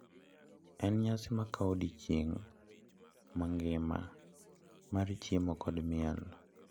“En nyasi ma kawo odiechieng’ mangima mar chiemo kod miel.